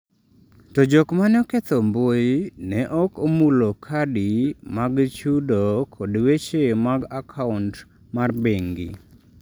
To jok ma ne oketho mbui ne ok omulo kadi mag chudo kod weche mag akaunt mar bengi.